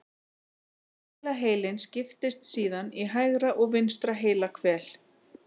Hvelaheilinn skiptist síðan í hægra og vinstra heilahvel.